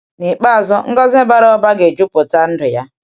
N’ikpeazụ, ngọzi bara ụba ga-ejuputa ndụ ya.